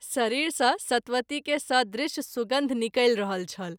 शरीर सँ सतवती के सदृश सुगन्ध निकलि रहल छल।